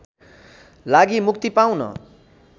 लागि मुक्ति पाउन